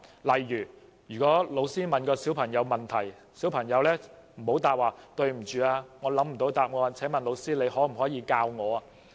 例如，小朋友不要在老師提出問題後回答："對不起，我想不到答案，請問老師可不可以教我呢？